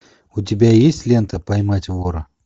у тебя есть лента поймать вора